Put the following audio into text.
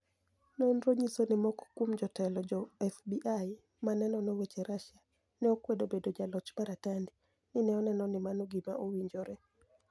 noniro niyiso nii moko kuom jotelo jo FBI ma ni e nono weche Russia, ni e okwedo bedo jaloch mar Atanidi , ni e oni eno nii mano gima owinijore.